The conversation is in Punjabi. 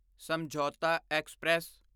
ਸਮਝੌਤਾ ਐਕਸਪ੍ਰੈਸ